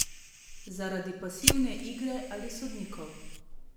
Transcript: Zaradi pasivne igre ali sodnikov?